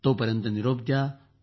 तोपर्यंत आता निरोप द्या